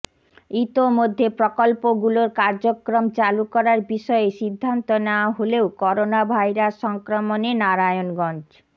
ইতোমধ্যে প্রকল্পগুলোর কার্যক্রম চালু করার বিষয়ে সিদ্ধান্ত নেওয়া হলেও করোনাভাইরাস সংক্রমণে নারায়ণগঞ্জ